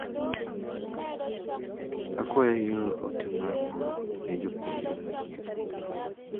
Akwayo ior ote mar mbui ne jopuonjre manyien.